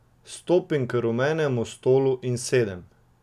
Stopim k rumenemu stolu in sedem.